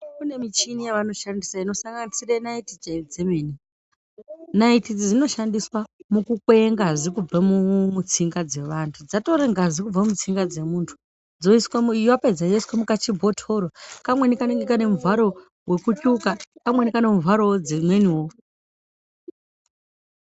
Kune michini yawanoshandisa inosanganisira naiti dzemene, naiti idzi dzinoshandiswa muku kwee ngazi kubva muu mutsinga dzemandu dzatore ngazi kubva mutsinga dzemundu dzoiswe, yapedza yoiswa mukachibhotoro. Kamweni kanenge kane muvharo wekutsvuka, kamweni kane muvharowo wedzimweniwo.